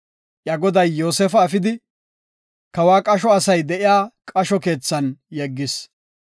Iya goday Yoosefa efidi, kawa qasho asay de7iya qasho keethan yeggis.